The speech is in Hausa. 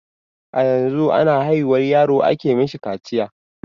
A yanzu a na haihuwar yaro a ke mishi kaciya.